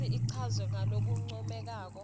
futsi ichazwe ngalokuncomekako